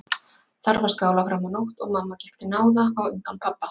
Þar var skálað fram á nótt og mamma gekk til náða á undan pabba.